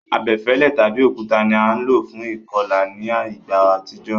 Abefẹ́lẹ́ tàbi òkúta ni a lo fún ìkolà ni ìgbà àtijó